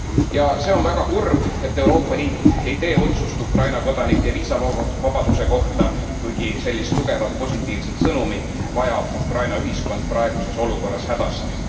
Ja see on väga kurb, et Euroopa Liit ei tee otsust Ukraina kodanike viisavabaduse kohta, kuigi sellist tugevat positiivset sõnumit vajab Ukraina ühiskond praeguses olukorras hädasti.